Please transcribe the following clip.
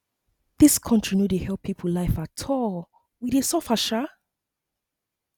dis country no dey help people life at all we dey suffer um